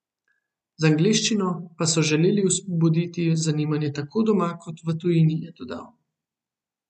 Z angleščino pa so želeli vzbuditi zanimanje tako doma kot v tujini, je dodal.